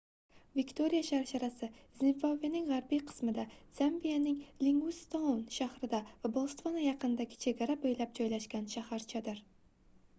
viktoriya sharsharasi zimbabvening gʻarbiy qismida zambiyaning livingstoun shahri va botsvana yaqinidagi chegara boʻylab joylashgan shaharchadir